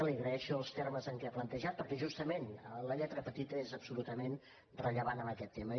li agraeixo els termes amb què ho ha plantejat perquè justament la lletra petita és absolutament rellevant en aquest tema